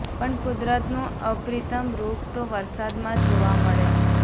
પણ કુદરતનું અપ્રિતમ રુપ તો વરસાદ માં જ જોવા મળે